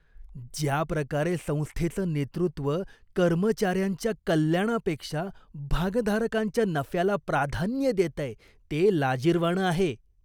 ज्याप्रकारे संस्थेचं नेतृत्व कर्मचाऱ्यांच्या कल्याणापेक्षा भागधारकांच्या नफ्याला प्राधान्य देतंय, ते लाजिरवाणं आहे.